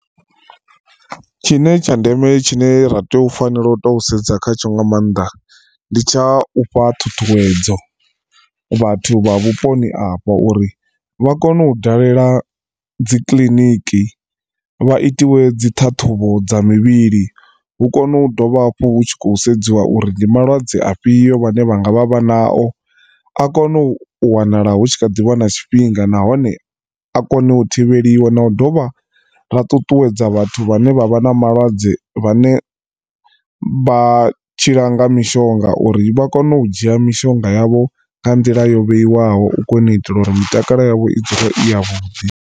Tshine tsha ndeme tshine ra tea u fanela u to sedza khatsho nga maanḓa ndi tsha u fha ṱhuṱhuwedzo vhathu vha vhuponi afha uri vha kone u dalela dzi kiḽiniki vha itiwe dzi ṱhaṱhuvho dza mivhili hu kone u dovha hafhu hu tshi khou sedziwa uri ndi malwadze afhio vhane vhanga vha vha na o. A kone u wanala hu tshi kha ḓivha na tshifhinga nahone a kone u thivheliwa na u dovha ra ṱuṱuwedza vhathu vhane vha vha na malwadze vhane vha tshila nga mishonga uri vha kone u dzhia mishonga yavho nga nḓila yo vheiwaho u kona u itela uri mitakalo yavho i dzule i ya vhuḓi.